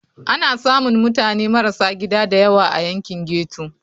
Ana samun mutane marasa gida da yawa a yankin ghetto.